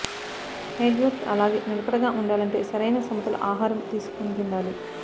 hair growth అలాగే నిలకడగా ఉండాలంటే సరైన సమతుల ఆహారం తీసుకుంటుండాలి